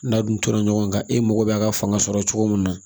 N'a dun tora ɲɔgɔn kan e mago bɛ a ka fanga sɔrɔ cogo min na